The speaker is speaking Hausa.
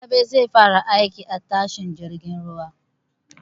Rabe zai fara aiki a tashar jirgin ruwa.